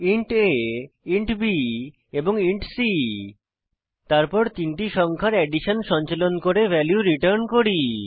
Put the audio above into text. int a int b এবং int c তারপর addition সঞ্চালন করে ভ্যালু রিটার্ন করি